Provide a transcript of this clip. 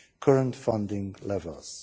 current funding levels.